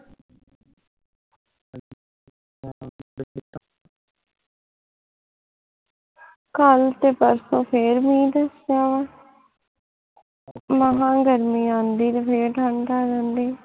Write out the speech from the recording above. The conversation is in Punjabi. ਕੱਲ ਤੇ ਪਰਸੋ ਫੇਰ ਮੀਂਹ ਦੱਸਿਆ ਵਾਂ ਮਸ ਗਰਮੀ ਆਉਂਦੀ ਤੇ ਫੇਰ ਠੰਡ ਆ ਜਾਂਦੀ ਆ